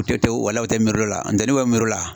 walayi u tɛ miiri l'o la an tɛ n'u bɛ miiri o la